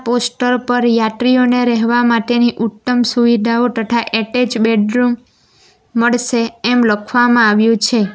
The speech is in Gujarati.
પોસ્ટર પર યાત્રીઓને રહેવા માટેની ઉત્તમ સુવિધાઓ તથા એટેચ બેડરૂમ મળશે એમ લખવામાં આવ્યું છે.